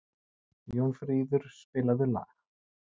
Jónfríður, spilaðu lag.